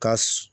Ka